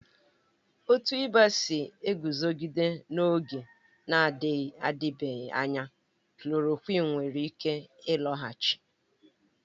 Otu ịba si eguzogide n'oge na-adịbeghị anya, klòròkwịn nwere ike ịlọghachi